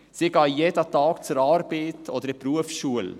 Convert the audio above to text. Sie gehen jeden Tag zur Arbeit oder in die Berufsschule.